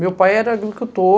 Meu pai era agricultor.